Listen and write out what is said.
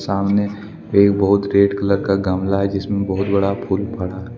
सामने एक बहुत रेड कलर का गमला है जिसमें बहुत बड़ा फूल पड़ा है।